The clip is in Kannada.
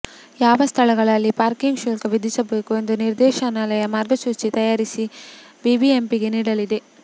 ಯಾವ ಸ್ಥಳಗಳಲ್ಲಿ ಪಾರ್ಕಿಂಗ್ ಶುಲ್ಕ ವಿಧಿಸಬೇಕು ಎಂದು ನಿರ್ದೇಶನಾಲಯ ಮಾರ್ಗಸೂಚಿ ತಯಾರಿಸಿ ಬಿಬಿಎಂಪಿಗೆ ನೀಡಲಿದೆ